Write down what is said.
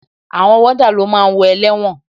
Àwọn wọ́dà ló máa ń wo ẹlẹ́wọ̀n